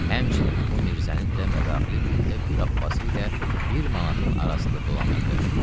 Həmçinin bu mirzənin də mədaxili gündə bir abbasi ilə bir manatın arasında dolanırdı.